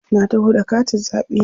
Na taho da katin zaɓe na.